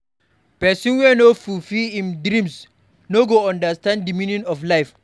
Pesin wey no fulfill im dreams no go understand di meaning of life.